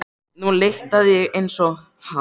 Nú lyktaði ég eins og hann.